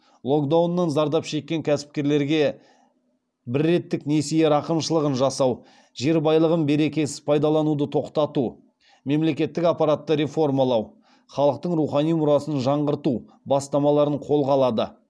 локдауннан зардап шеккен кәсіпкерлерге бірреттік несие рақымшылығын жасау жер байлығын берекесіз пайдалануды тоқтату мемлекеттік аппаратты реформалау халықтың рухани мұрасын жаңғырту бастамаларын қолға алады